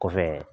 Kɔfɛ